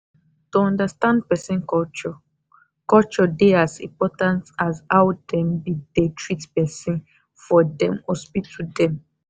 to understand person culture culture dey as important as how dem be dey treat person for them hospital dem.